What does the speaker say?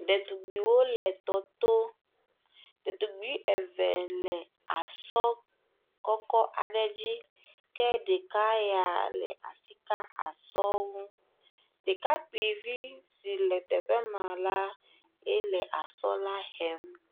Ɖetugbuiwo le tɔ to, ɖetugbui eve le asɔ kɔkɔ aɖe dzi ke ɖeka ya le asi ka asɔ ŋu. Ɖekakpuio vi si le teƒe ma la, ele asɔ la hem.